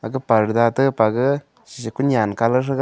purda tepaga kunyan shre kunyan colour threga.